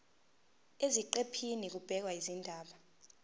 eziqephini kubhekwe izindaba